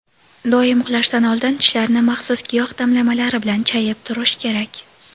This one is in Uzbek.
Doim uxlashdan oldin tishlarni maxsus giyoh damlamalari bilan chayib turish kerak.